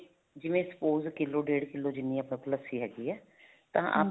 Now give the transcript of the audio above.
ਜਿਵੇਂ spouse ਕਿੱਲੋ ਡੇਡ ਕਿੱਲੋ ਜਿੰਨੀ ਆਪਾਂ ਕੋਲ ਲੱਸੀ ਹੈਗੀ ਹੈ ਤਾਂ ਆਪਾਂ